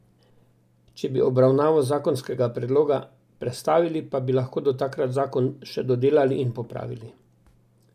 Če bi obravnavo zakonskega predloga prestavili, pa bi lahko do takrat zakon še dodelali in popravili.